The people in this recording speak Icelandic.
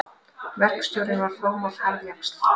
Verkstjórinn var fámáll harðjaxl.